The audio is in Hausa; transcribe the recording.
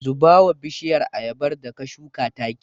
Zuba wa bishiyar ayabar da ka shuka taki.